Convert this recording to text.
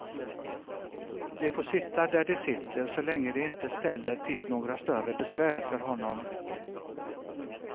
De får sitta där de sitter så länge de inte ställer till några större besvär för honom.